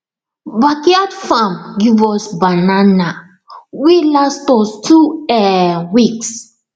backyard farm give us banana wey last us two um weeks